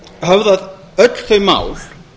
höfðað öll þau mál